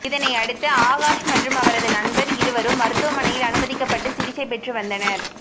இதனை அடுத்து ஆகாஷ் மற்றும் அவரது நண்பர் இருவரும் மருத்துவமனையில் அனுமதிக்கப்பட்டு சிகிச்சை பெற்று வந்தனர்